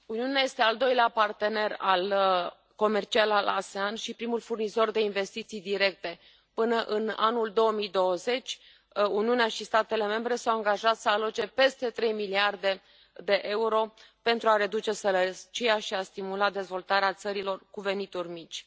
Doamnă președintă, Uniunea este al doilea partener comercial al ASEAN și primul furnizor de investiții directe. Până în anul 2020, Uniunea și statele membre s au angajat să aloce peste trei miliarde de euro pentru a reduce sărăcia și a stimula dezvoltarea țărilor cu venituri mici.